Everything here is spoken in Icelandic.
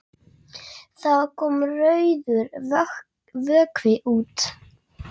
Það kom rauður vökvi út.